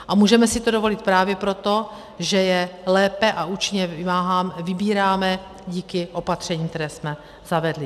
A můžeme si to dovolit právě proto, že je lépe a účinněji vybíráme díky opatřením, která jsme zavedli.